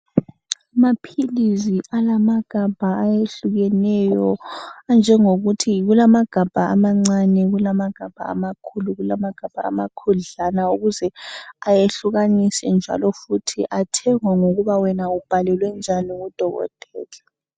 Amaphilizi alamagama ayehlukeneyo anjengokuthi kulamagabha amancane kulamagabha amakhulu kulamagabha amakhudlana ukuze ayehlukaniswe njalo futhi athengwa ngokuba wena ubhalelwe njani ngudokotela.